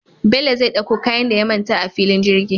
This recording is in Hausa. Bello zai ɗakko kayan da ya manta a fillin jirgi